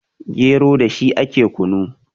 gero da shi ake kunu